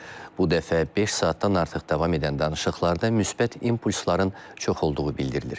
Bu dəfə beş saatdan artıq davam edən danışıqlarda müsbət impulsların çox olduğu bildirilir.